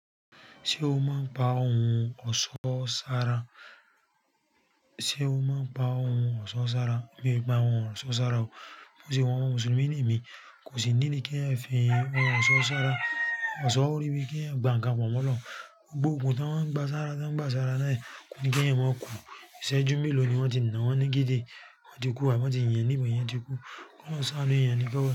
Ṣé o máa ń pa ohun ọ̀ṣọ́ sára? Sé o máa ń pa ohun ọ̀ṣọ́ sára? Mi e pa ohun ọ̀ṣọ́ sára o. Bó ṣe wa ọmọ Mùsùlùmí ni èmi, kò sí niidi kí ẹeyan fi ohun ọ̀ṣọ́ sára. Ọ̀ṣọ́ orí bíi kí ẹeyan gba nǹkan pọ̀ mọ́ Ọlọ́run. Gbogbo ogun tọ́ ń gba sára tọ́ ń gba sára náà yí kò ní kí èèyàn máa kú. Ìṣẹ́jú meló ni wọ́n ti nà wọ́n ní geje, wọ́n ti kú, àbí wọ́n ti yìn èèyàn ní ìbọn èèyàn ti kú. Kí Ọlọ́run sá a nu èèyàn ni kí Ọlọ́run.